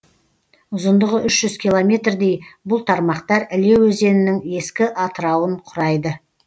ұзындығы үш жүз километрдей бұл тармақтар іле өзенінің ескі атырауын құрайды